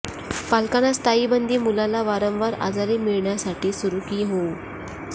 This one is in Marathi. पालकांना स्थायी बंदी मुलाला वारंवार आजारी मिळविण्यासाठी सुरु की होऊ